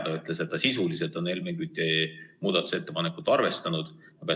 Ta ütles, et sisuliselt on Helmen Küti muudatusettepanekut arvestatud.